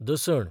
दसण